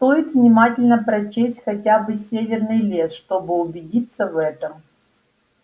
стоит внимательно прочесть хотя бы северный лес чтобы убедиться в этом